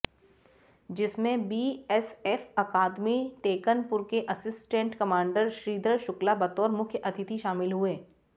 जिसमें बीएसएफ अकादमी टेकनपुर के असिस्टेंट कमांडर श्रीधर शुक्ला बतौर मुख्य अतिथि शामिल हुए